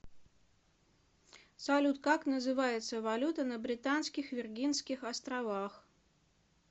салют как называется валюта на британских виргинских островах